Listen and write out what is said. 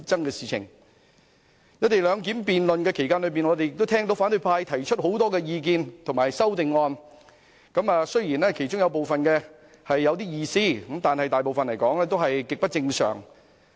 在辯論"一地兩檢"期間，我們也聽到反對派提出很多意見和修正案，雖然其中有部分有點意思，但大部分卻是極不正常。